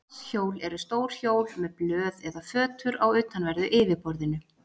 Vatnshjól eru stór hjól með blöð eða fötur á utanverðu yfirborðinu.